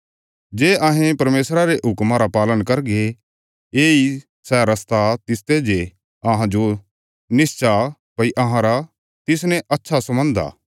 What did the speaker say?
जे अहें परमेशरा रे हुक्मा रा पालन करगे येई सै रस्ता तिसते जे अहांजो निश्चा भई अहांरा तिसने अच्छा सम्बन्ध आ